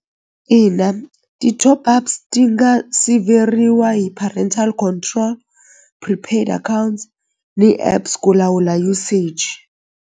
Ina ti-top ups ti nga siveriwa hi parental control prepaid account ni apps ku lawula usage.